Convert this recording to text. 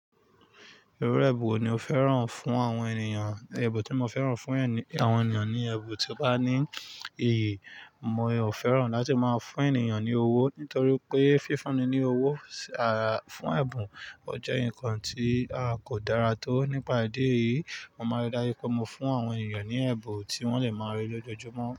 Irú ẹbùn wo ni o fẹ́ràn fún àwọn ènìyàn? Ẹbùn tí mo fẹ́ràn fún àwọn ènìyàn ni ẹbùn tí ó bá ní iyì. Mi ò fẹ́ràn láti máa fún ènìyàn ní owó nítorí pé fífúnni ní owó fún ẹ̀bùn jẹ́ ǹkan tí a kò dára tó. Nípa ìdí èyí, mo maa rí dáju pé mo fún àwọn ènìyàn ní ẹ̀bùn tí wọ́n lè máa rí lójoojúmọ́